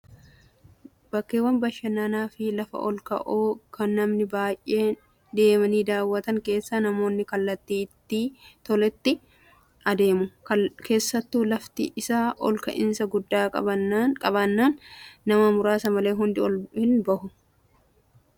Bakkeewwan bashannanaa fi lafa ol ka'oo kan namni baay'een deemanii daawwatan keessa namoonni kallattii itti toletti adeemu. Keessattuu lafti isaa ol ka'iinsa guddaa qabaannaan nama muraasa malee hundi ol hin bahu.